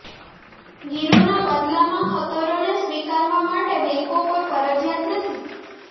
ગીરોના બદલામાં ખતરોને સ્વીકારવા માટે બેંકો કોઈ ફરજિયાત નથી